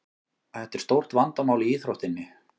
Þetta er stórt vandamál í íþróttinni.